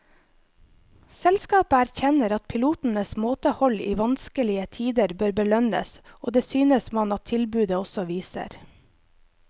Selskapet erkjenner at pilotenes måtehold i vanskelige tider bør belønnes, og det synes man at tilbudet også viser.